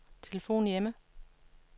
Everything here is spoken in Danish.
telefon hjemme